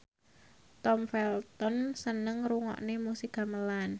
Tom Felton seneng ngrungokne musik gamelan